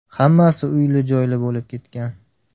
Hammasi uyli-joyli bo‘lib ketgan.